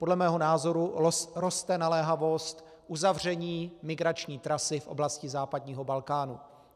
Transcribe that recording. Podle mého názoru roste naléhavost uzavření migrační trasy v oblasti západního Balkánu.